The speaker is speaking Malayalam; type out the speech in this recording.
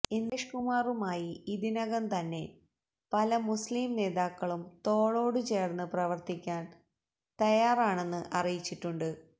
ഇന്ദ്രേഷ് കുമാറുമായി ഇതിനകം തന്നെ പല മുസ്ലിം നേതാക്കളും തോളോടു ചേര്ന്ന് പ്രവര്ത്തിക്കാന് തയ്യാറാണെന്ന് അറിയിച്ചിട്ടുണ്ട്